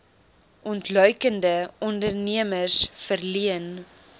ontluikende ondernemers verleen